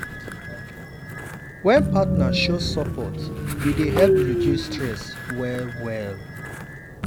wen partner show support e dey help reduce stress well-well.